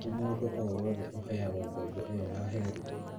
Ti mũndũ o wothe ũheagwo ngoombo ĩyo ya HELB